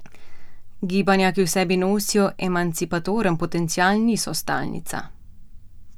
Gibanja, ki v sebi nosijo emancipatoren potencial, niso stalnica.